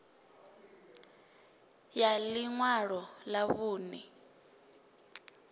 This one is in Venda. ya ḽi ṅwalo ḽa vhuṋe